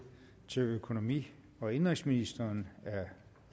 til økonomi og indenrigsministeren af herre